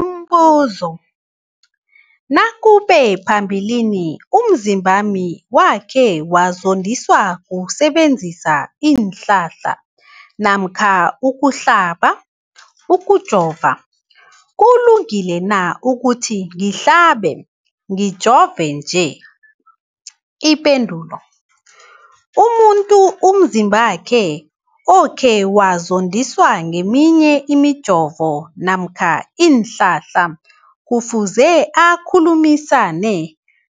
Umbuzo, nakube phambilini umzimbami wakhe wazondiswa kusebenzisa isihlahla namkha ukuhlaba, ukujova, kulungile na ukuthi ngihlabe, ngijove nje? Ipendulo, umuntu umzimbakhe okhe wazondiswa ngeminye imijovo namkha iinhlahla kufuze akhulumisane